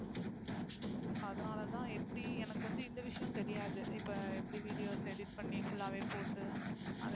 அதுனால தான் எப்படி எனக்கு வந்து இந்த விஷயம் தெரியாது இப்ப எப்படி videos edit பண்ணி, full ஆவே போட்டு. அதை